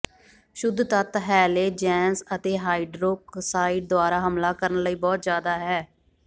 ਸ਼ੁੱਧ ਤੱਤ ਹੈਲੇਜੈਂਸ ਅਤੇ ਹਾਈਡ੍ਰੋਕਸਾਈਡ ਦੁਆਰਾ ਹਮਲਾ ਕਰਨ ਲਈ ਬਹੁਤ ਜ਼ਿਆਦਾ ਹੈ